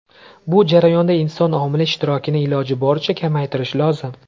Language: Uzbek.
Bu jarayonda inson omili ishtirokini iloji boricha kamaytirish lozim.